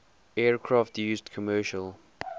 aircraft used commercial